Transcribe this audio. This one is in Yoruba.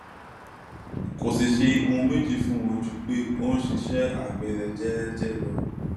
kò sì ṣe ohun méjì fún wọn ju pé ó ń ṣiṣẹ àgbẹ rẹ jẹẹjẹ lọ